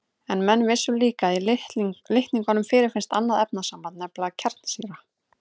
En menn vissu líka að í litningum fyrirfinnst annað efnasamband, nefnilega kjarnsýra.